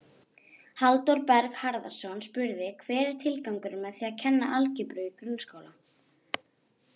Halldór Berg Harðarson spurði: Hver er tilgangurinn með því að kenna algebru í grunnskóla?